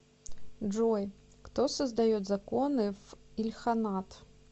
джой кто создает законы в ильханат